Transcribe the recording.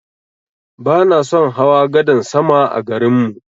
Bana son hawa gadan sama a garin mu.